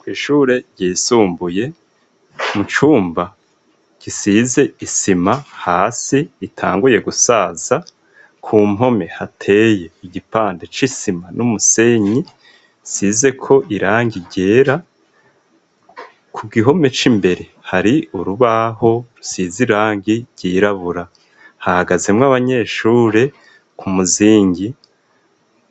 Kw'ishure ryisumbuye mu cumba gisize isima hasi itanguye gusaza, ku mpome hateye igipande c'isima n'umusenyi isizeko irangi ryera, ku gihome c'imbere hari urubaho rusize irangi ryirabura. Hahagazemwo abanyeshure ku muzingi,